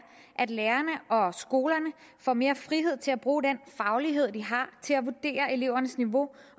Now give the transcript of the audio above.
at lærerne og skolerne får mere frihed til at bruge den faglighed de har til at vurdere elevernes niveau